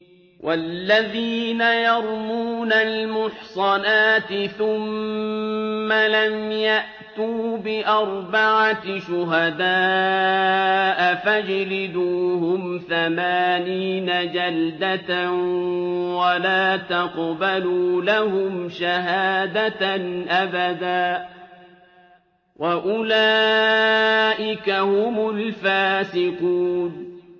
وَالَّذِينَ يَرْمُونَ الْمُحْصَنَاتِ ثُمَّ لَمْ يَأْتُوا بِأَرْبَعَةِ شُهَدَاءَ فَاجْلِدُوهُمْ ثَمَانِينَ جَلْدَةً وَلَا تَقْبَلُوا لَهُمْ شَهَادَةً أَبَدًا ۚ وَأُولَٰئِكَ هُمُ الْفَاسِقُونَ